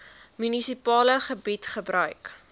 munisipale gebied gebruik